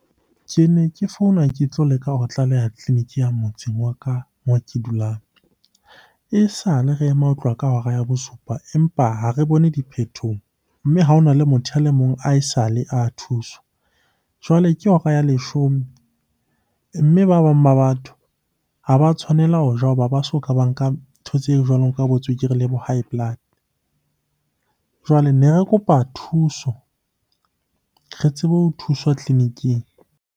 Ke ne ke founa ke tlo leka ho tlaleha tleliniki ya motseng wa ka moo ke dulang. Esale re ema ho tloha ka hora ya bosupa, empa ha re bone diphethoho. Mme ha ho na le motho a le mong ae sale a thuswa. Jwale ke hora ya leshome, mme ba bang ba batho ha ba tshwanela ho ja hoba ba soka ba nka ntho tse jwalo ka bo tswekere le bo high blood. Jwale ne re kopa thuso re tsebe ho thuswa tleliniking.